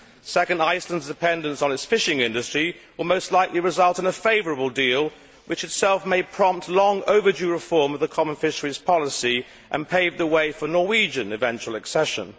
Second, Iceland's dependence on its fishing industry will most likely result in a favourable deal which itself may prompt long overdue reform of the common fisheries policy and pave the way for Norway's eventual accession.